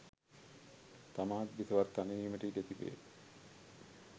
තමාත් බිසවත් තනි වීමට ඉඩ තිබේ